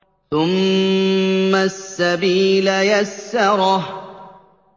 ثُمَّ السَّبِيلَ يَسَّرَهُ